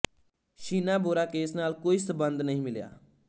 Sheena Bora case ਨਾਲ ਕੋਈ ਸੰਬੰਧ ਨਹੀਂ ਮਿਲਿਆ